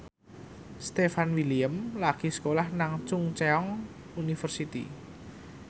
Stefan William lagi sekolah nang Chungceong University